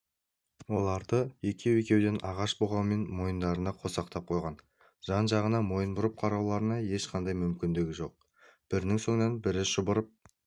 оларды екеу-екеуден ағаш бұғаумен мойындарынан қосақтап қойған жан-жағына мойын бұрып қарауларына ешқандай мүмкіндік жоқ бірінің соңынан бірі шұбырып